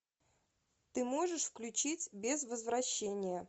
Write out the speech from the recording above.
ты можешь включить без возвращения